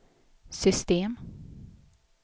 system